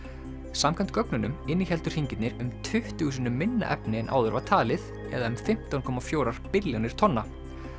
samkvæmt gögnunum innihéldu hringirnir um tuttugu sinnum minna efni en áður var talið eða um fimmtán komma fjögur billjónir tonna